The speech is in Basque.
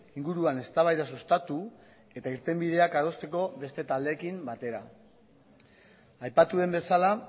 inguruan eztabaida sustatu eta irtenbideak adosteko beste taldeekin batera aipatu den bezala